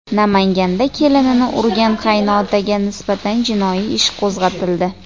Namanganda kelinini urgan qaynotaga nisbatan jinoiy ish qo‘zg‘atildi.